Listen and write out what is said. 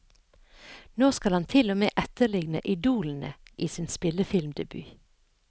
Nå skal han til og med etterligne idolene i sin spillefilmdebut.